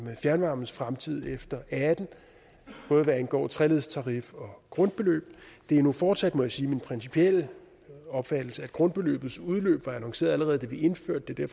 fjernvarmens fremtid efter og atten både hvad angår treledstarif og grundbeløb det er nu fortsat må jeg sige min principielle opfattelse at grundbeløbets udløb var annonceret allerede da vi indførte det